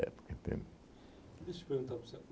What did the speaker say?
entende? E deixa eu perguntar para o senhor.